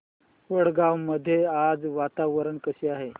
वडगाव मध्ये आज वातावरण कसे आहे